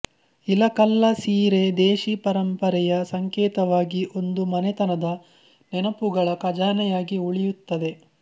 ಇಲಕಲ್ಲ ಸೀರೆ ದೇಶಿ ಪರಂಪರೆಯ ಸಂಕೇತವಾಗಿ ಒಂದು ಮನೆತನದ ನೆನಪುಗಳ ಖಜಾನೆಯಾಗಿ ಉಳಿಯುತ್ತದೆ